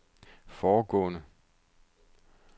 foregående